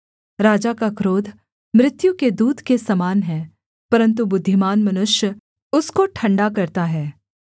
राजा का क्रोध मृत्यु के दूत के समान है परन्तु बुद्धिमान मनुष्य उसको ठण्डा करता है